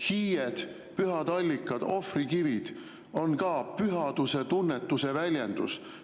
Hiied, pühad allikad, ohvrikivid on ka pühaduse tunnetuse väljendus.